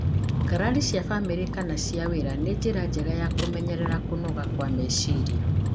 ngarari cia bamĩrĩ kana cia wĩra, nĩ njĩra njega ya kũmenyerera kũnoga kwa meciria.